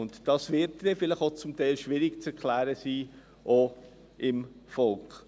Dies wird zum Teil auch schwierig zu erklären sein, auch dem Volk.